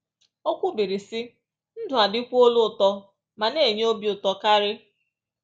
O kwubiri, sị: “Ndụ adịkwuola ụtọ ma na-enye obi ụtọ karị